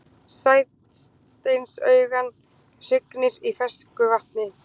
Sæsteinsugan hrygnir í fersku vatni.